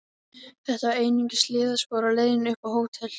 Þetta var einungis hliðarspor á leiðinni upp á hótel.